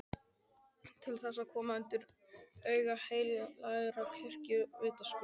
Til þess að koma honum undir aga heilagrar kirkju, vitaskuld!